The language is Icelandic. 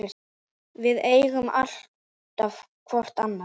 Við eigum alltaf hvort annað.